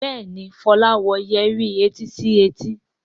Béèni Fola wò Yẹrí etí sí etí.